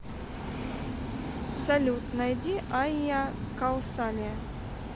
салют найди айя каусалия